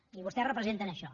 i vostès representen això